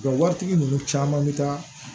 Wa waritigi ninnu caman bɛ taa